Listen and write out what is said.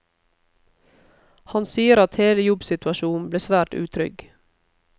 Han sier at hele jobbsituasjonen ble svært utrygg.